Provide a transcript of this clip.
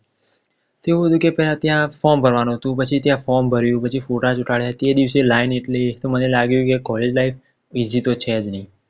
તેવું હતું કે ત્યાં form ભરવાનું હતું પછી ત્યાં form ભર્યું પછી ફોટા ચોંટાડ્યા તે દિવસે line એટલી કે મને લાગ્યું કે College life બીજી તો છે જ નઈ